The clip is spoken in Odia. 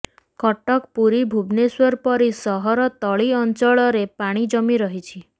କଟକ ପୁରୀ ଭୁବନେଶ୍ୱର ପରି ସହର ତଳି ଅଞ୍ଚଳରେ ପାଣି ଜମି ରହିଛି